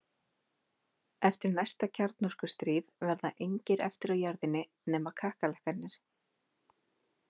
Eftir næsta kjarnorkustríð verða engir eftir á jörðinni nema kakkalakkarnir.